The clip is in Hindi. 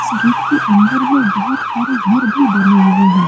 इस गेट के अंदर में बहोत सारे घर भी बने हुए हैं।